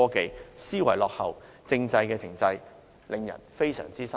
政府思維落後，制度亦停滯，令人非常失望。